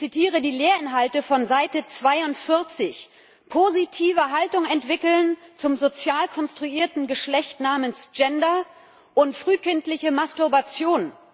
Ich zitiere die Lehrinhalte von Seite 42 Positive Haltung entwickeln zum sozial konstruierten Geschlecht namens Gender und frühkindlicher Masturbation.